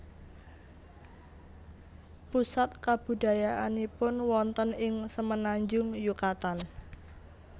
Pusat kabudayaannipun wonten ing Semenanjung Yukatan